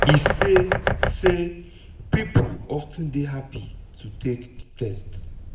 e say say pipo of ten dey happy to take di test.